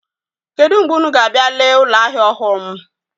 Kedụ mgbe unu ga-abịa lee ụlọahịa ọhụụ m?